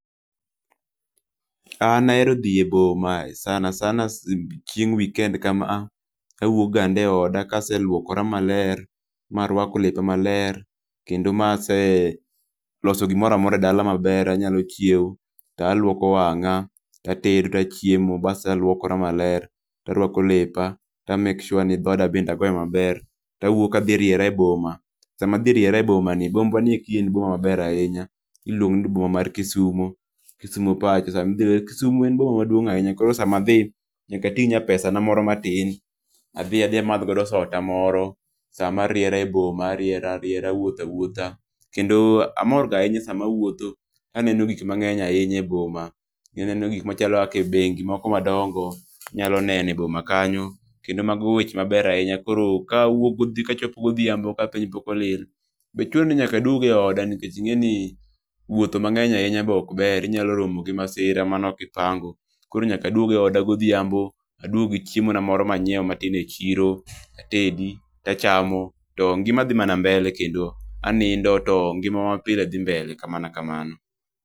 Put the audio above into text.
An ahero dhi e boma sanasana chieng weekend kama awuok gande e oda kaseluokora maler ma aruako lepa ma ler kendo ma se loso gimoro amora e dala maber anyalo chiewo to aluoko wang'a to atedo to achiemo basto aluokora ma ler to ariako lep to a make sure ni dhoda bende agouyo ,maber to awuok adhi riera e boma sama adhi riera e boma ni bombwa ni eki en boma ma ber ahinya iluongo ni boma mar kisumo, kisumo pacho. Kisumo en boma maduing ahibnya koro sa ma adji nyaka ating nya pesa na moro matin adhi, adhi amadh godo soda moro sa ma ariera e boma, ariera ariera awuotho awuotha kendo amor ga ahinya sama awuotho, ka aneno gik mang'eny ahinya e boma. Ka aneno gik machalo kaka bengi moko madongo inyalo neno e boma jkanyo kendo mago weche ma ber ahinya koro ka awuok ko ochopo go odhiambo ka pok piny olil be chuno nyaka aduog e oda nikech be inge ni wuotho mang'eny ahinya be ok ber inyalo romo gi masira ma ne ok ipango ,koro nyaka aduog e oda go odhiambo, aduog gi chiemba na moro ma ne ang'iewo matin e chiro, atedi to achamo to ngima dhi mana mbele kendo anindo to ngima ma pile dhi mbele